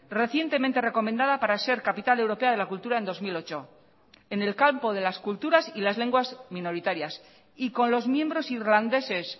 recientemente recomendada para ser capital europea de la cultura en dos mil ocho en el campo de las culturas y las lenguas minoritarias y con los miembros irlandeses